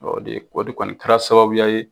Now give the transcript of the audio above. de o de kɔni kɛra sababuya ye.